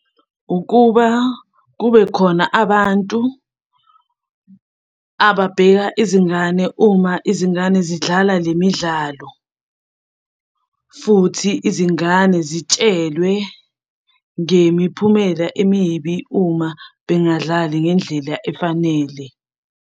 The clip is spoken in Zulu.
Ukuba kube khona abantu ababheka izingane uma izingane zidlala le midlalo, futhi izingane zitshelwe ngemiphumela emibi uma bengadlali ngendlela efanele.